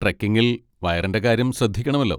ട്രെക്കിങ്ങിൽ വയറിന്റെ കാര്യം ശ്രദ്ധിക്കണമല്ലോ.